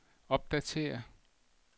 opdatér